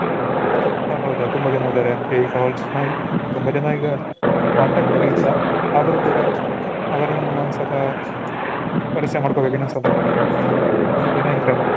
ಹ ಹೌದಾ ತುಂಬಾ ಜನ ಇದ್ದಾರೆ ಅಂದ್ರೆ ಈಗ ತುಂಬಾ ಜನ ಈಗ contact ಅಲ್ ಇಲ್ಲ. ಆದ್ರು ಕೂಡ ಅವರನ್ ಒಂದ್ ಸಹ ಪರ್ಚಯ ಮಾಡ್ಕೋಬೇಕು ಇನ್ನೊಂದ್ ಸಲ. ತುಂಬ ದಿನ ಆಯ್ತಲ್ಲ.